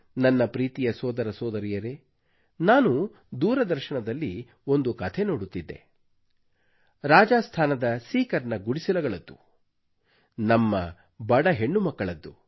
ನನ್ನ ಪ್ರೀತಿಯ ಸೋದರಸೋದರಿಯರೇ ನಾನು ದೂರದರ್ಶನದಲ್ಲಿ ಒಂದು ಕಥೆ ನೋಡುತ್ತಿದ್ದೆ ರಾಜಾಸ್ಥಾನದ ಸೀಕರ್ ನ ಗುಡಿಸಲುಗಳದ್ದು ನಮ್ಮ ಬಡ ಹೆಣ್ಣುಮಕ್ಕಳದ್ದು